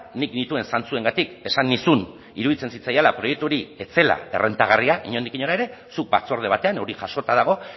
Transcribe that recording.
nik nituen zantzuengatik esan nizun iruditzen zitzaidala proiektu hori ez zela errentagarria inondik inora ere zuk batzorde batean hori jasota dago